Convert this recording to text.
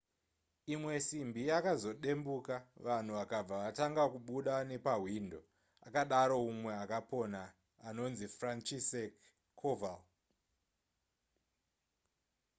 imwe simbi yakazodembuka vanhu vakabva vatanga kubuda nepahwindo akadaro mumwe akapona anonzi franciszek kowal